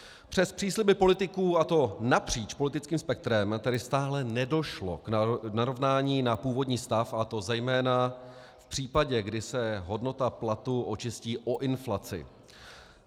Přes přísliby politiků, a to napříč politickým spektrem, tady stále nedošlo k narovnání na původní stav, a to zejména v případě, kdy se hodnota platu očistí o inflaci.